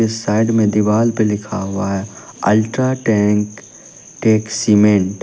Side में दीवाल पे लिखा हुआ है अल्ट्रा टैंक टेक सीमेंट ।